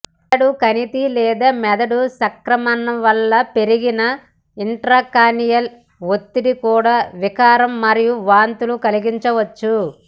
మెదడు కణితి లేదా మెదడు సంక్రమణ వలన పెరిగిన ఇంట్రాక్రానియల్ ఒత్తిడి కూడా వికారం మరియు వాంతులు కలిగించవచ్చు